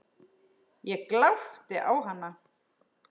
Ég glápti á hana.